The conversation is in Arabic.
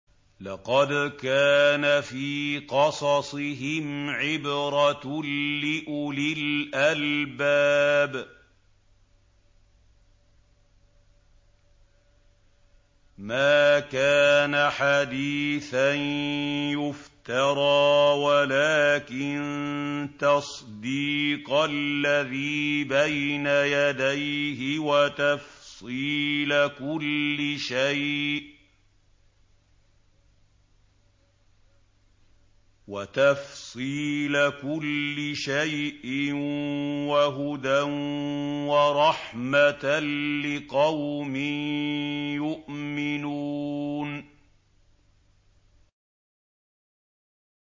لَقَدْ كَانَ فِي قَصَصِهِمْ عِبْرَةٌ لِّأُولِي الْأَلْبَابِ ۗ مَا كَانَ حَدِيثًا يُفْتَرَىٰ وَلَٰكِن تَصْدِيقَ الَّذِي بَيْنَ يَدَيْهِ وَتَفْصِيلَ كُلِّ شَيْءٍ وَهُدًى وَرَحْمَةً لِّقَوْمٍ يُؤْمِنُونَ